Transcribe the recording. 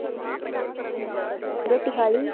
ਰੋਟੀ ਖਾਲੀ?